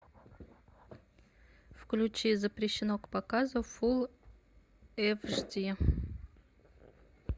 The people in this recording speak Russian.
включи запрещено к показу фул эйч ди